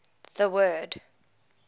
the word